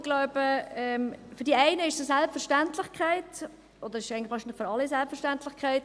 Ich glaube, für die einen ist es eine Selbstverständlichkeit – es ist eigentlich wahrscheinlich für alle eine Selbstverständlichkeit.